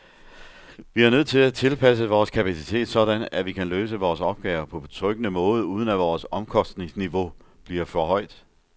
Vi er nødt til at tilpasse vores kapacitet sådan, at vi kan løse vores opgaver på betryggende måde, uden at vores omkostningsniveau bliver for højt.